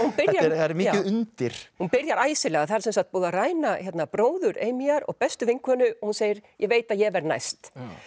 er mikið undir hún byrjar æsilega það er sem sagt búið að ræna bróður Amyar og bestu vinkonu og hún segir ég veit að ég verð næst